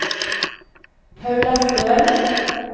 Paula Stølen